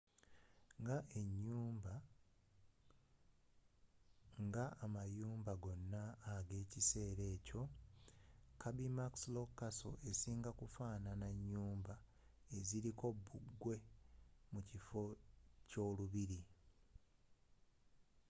nga amayumba gonnna ag'ekisser akyo kirby muxloe castle ekinga kufaanana nyumba ebiriko bbugwe mukifo ky'olubiri